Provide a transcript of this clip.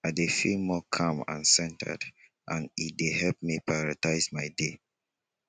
i dey feel more calm and centered and e dey help me to prioritize my day